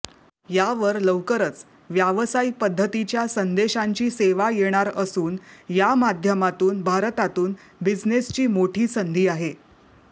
यावर लवकरच व्यावसायिक पध्दतीच्या संदेशांची सेवा येणार असून या माध्यमातून भारतातून बिझनेसची मोठी संधी आहे